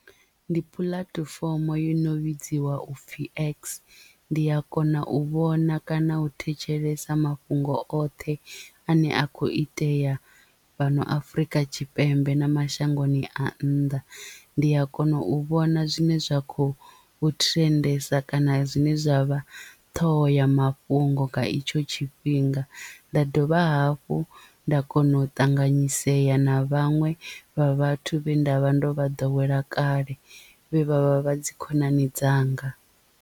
Ndi puḽatifomo yo no vhidziwa u pfhi x ndi a kona u vhona kana u thetshelesa mafhungo oṱhe ane a kho itea fhano afrika tshipembe na mashangoni a nnḓa. Ndi a kona u vhona zwine zwa kho thirendesa kana zwine zwa vha ṱhohomafhungo nga itsho tshifhinga nda dovha hafhu nda kona u ṱanganyisea na vhaṅwe vha vhathu vhe nda vha ndo vha ḓowela kale vhe vhavha vha dzi khonani dzanga.